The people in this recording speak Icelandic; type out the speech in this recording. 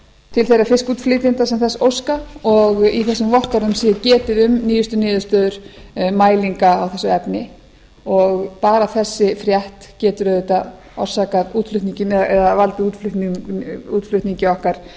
til þeirra fiskútflytjenda sem þess óska og í þessum vottorðum sé getið um nýjustu niðurstöður mælinga á þessu efni bara þessi frétt getur auðvitað valdið útflutningi okkar